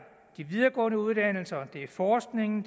de videregående uddannelser det er forskningen